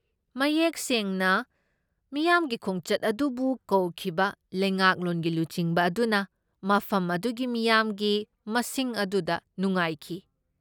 ꯃꯌꯦꯛ ꯁꯦꯡꯅ, ꯃꯤꯌꯥꯝꯒꯤ ꯈꯣꯡꯆꯠ ꯑꯗꯨꯕꯨ ꯀꯧꯈꯤꯕ ꯂꯩꯉꯥꯛꯂꯣꯟꯒꯤ ꯂꯨꯆꯤꯡꯕ ꯑꯗꯨꯅ ꯃꯐꯝ ꯑꯗꯨꯒꯤ ꯃꯤꯌꯥꯝꯒꯤ ꯃꯁꯤꯡ ꯑꯗꯨꯗ ꯅꯨꯡꯉꯥꯏꯈꯤ꯫